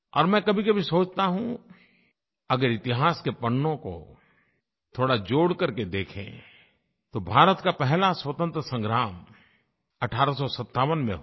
और मैं कभीकभी सोचता हूँ अगर इतिहास के पन्नों को थोड़ा जोड़ करके देखें तो भारत का पहला स्वतंत्रता संग्राम 1857 में हुआ